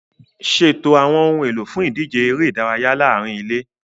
Ṣètò àwọn ohun èlò fún ìdíje eré ìdárayá láàárín ilé.